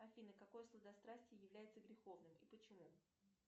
афина какое сладострастие является греховным и почему